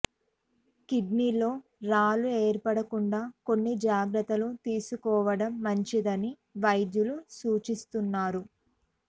కిడ్నీలో రాళ్లు ఏర్పడకుండా కొన్ని జాగ్రత్తలు తీసుకోవడం మంచిదని వైద్యులు సూచిస్తున్నారు